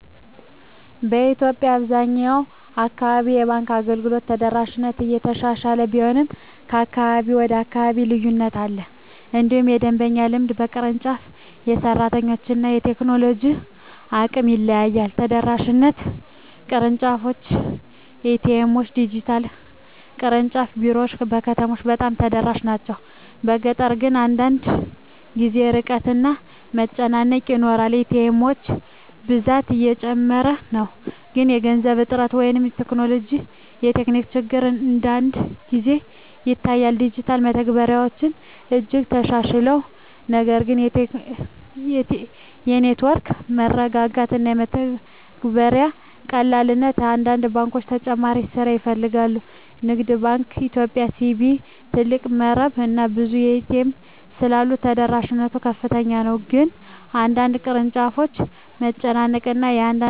በኢትዮጵያ አብዛኛው አካባቢ የባንክ አገልግሎት ተደራሽነት እየተሻሻለ ቢሆንም ከአካባቢ ወደ አካባቢ ልዩነት አለ። እንዲሁም የደንበኛ ልምድ በቅርንጫፍ፣ በሰራተኞች እና በቴክኖሎጂ አቅም ይለያያል። ተደራሽነት (ቅርንጫፎች፣ ኤ.ቲ.ኤም፣ ዲጂታል) ቅርንጫፍ ቢሮዎች በከተሞች በጣም ተደራሽ ናቸው፤ በገጠር ግን አንዳንድ ጊዜ ርቀት እና መጨናነቅ ይኖራል። ኤ.ቲ. ኤሞች ብዛት እየጨመረ ነው፣ ግን የገንዘብ እጥረት ወይም ቴክኒክ ችግር አንዳንድ ጊዜ ይታያል። ዲጂታል መተግበሪያዎች እጅግ ተሻሽለዋል፣ ነገር ግን የኔትወርክ መረጋጋት እና የመተግበሪያ ቀላልነት በአንዳንድ ባንኮች ተጨማሪ ስራ ይፈልጋል። ንግድ ባንክ ኢትዮጵያ (CBE) ትልቅ መረብ እና ብዙ ኤ.ቲ. ኤሞች ስላሉት ተደራሽነት ከፍተኛ ነው፤ ግን በአንዳንድ ቅርንጫፎች መጨናነቅ እና አንዳንድ ሠራተኞች ለደንበኛ ክብር አለመስጠት